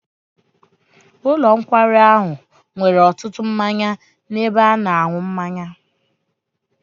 Ụlọ nkwari ahụ nwere ọtụtụ mmanya n'ebe a na-aṅụ mmanya.